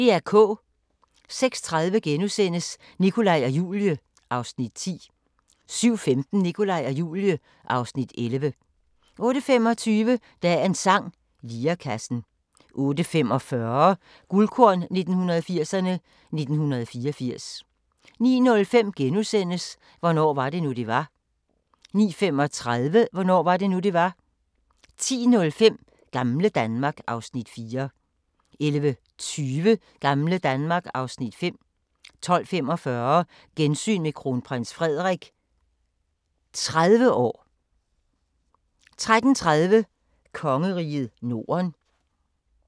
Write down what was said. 06:30: Nikolaj og Julie (Afs. 10)* 07:15: Nikolaj og Julie (Afs. 11) 08:25: Dagens sang: Lirekassen 08:45: Guldkorn 1980'erne: 1984 09:05: Hvornår var det nu, det var? * 09:35: Hvornår var det nu, det var? 10:05: Gamle Danmark (Afs. 4) 11:20: Gamle Danmark (Afs. 5) 12:45: Gensyn med Kronprins Frederik 30 år 13:30: Kongeriget Norden